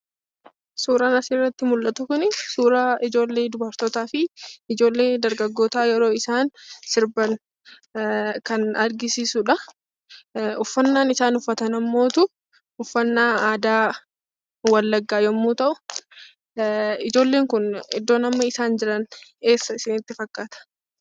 Suuraan asirratti mul'atu kuni suuraa ijoollee dubartootafi ijoollee dargaggoota yeroo isaan sirban kan agarsiisudha. Uffannaan isaan uffatan ammoo uffannaa aadaa Wallaggaa yemmuu ta'u, ijoolleen kun iddoo amma isaan jiran eessa isinitti fakkaata?